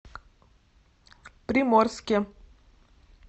приморске